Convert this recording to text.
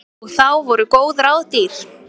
Og þá voru góð ráð dýr.